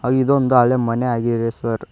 ಇದೊಂದು ಹಳೆ ಮನೆ ಆಗಿದೆ ಸರ್ .